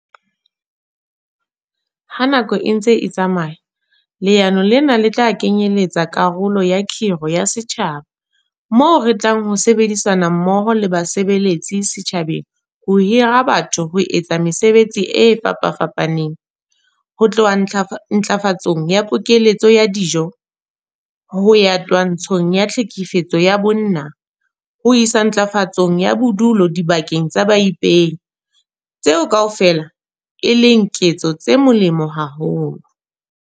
Ha nako e ntse e tsamaya, leano lena le tla kenyeletsa karolo ya 'kgiro ya setjhaba' moo re tlang ho sebedisana mmoho le basebeletsi setjhabeng ho hira batho ho etsa mesebetsi e fapafapaneng - ho tloha ntlafatsong ya pokeletso ya dijo ho ya twantshong ya tlhekefetso ya bonng ho isa ntlafatsong ya bodulo dibakeng tsa baipehi - tseo kaofela e leng ketso tse molemo haholo.